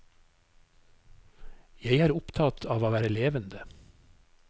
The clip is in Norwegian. Jeg er opptatt av å være levende.